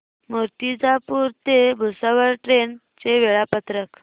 मूर्तिजापूर ते भुसावळ ट्रेन चे वेळापत्रक